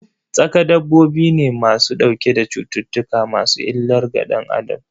Tsaƙa dabbobi ne ma su ɗauke da cuttutuka masu illar ga danAdam.